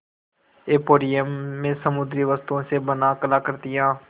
emporium में समुद्री वस्तुओं से बनी कलाकृतियाँ